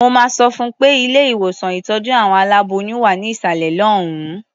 Mo máa sọ fún un pé ilé-ìwòsàn ìtọ́jú àwọn aláboyún wà ní ìsàlẹ̀ lọ́hùn-ún.